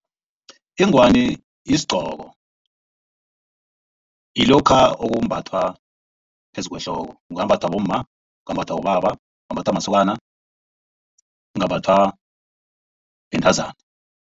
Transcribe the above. Ingwani yisigqoko ngilokha okumbathwa phezu kwehloko kungambathwa bomma, kungambathwa bobaba, kungambathwa masokana, kungambathwa bentazana.